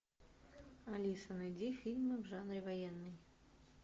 алиса найди фильмы в жанре военный